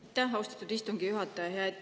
Aitäh, austatud istungi juhataja!